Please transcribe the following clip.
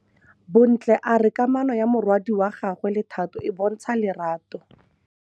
Bontle a re kamanô ya morwadi wa gagwe le Thato e bontsha lerato.